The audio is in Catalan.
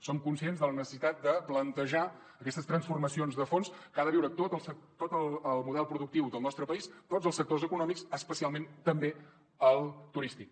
som conscients de la necessitat de plantejar aquestes transformacions de fons que ha de viure tot el model productiu del nostre país tots els sectors econòmics especialment també el turístic